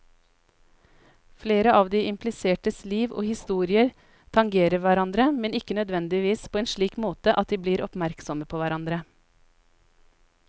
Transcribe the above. Flere av de implisertes liv og historier tangerer hverandre, men ikke nødvendigvis på en slik måte at de blir oppmerksomme på hverandre.